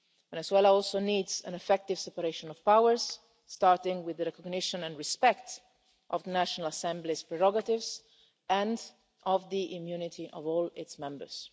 And Venezuela also needs an effective separation of powers, starting with the recognition and respect of the National Assembly's prerogatives and of the immunity of all its members.